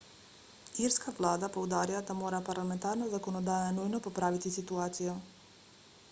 irska vlada poudarja da mora parlamentarna zakonodaja nujno popraviti situacijo